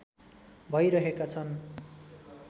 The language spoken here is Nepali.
भइरहेका छन्